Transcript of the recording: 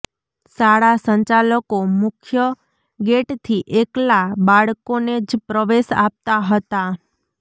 શાળા સંચાલકો મુખ્ય ગેટથી એકલા બાળકોને જ પ્રવેશ આપતાં હતાં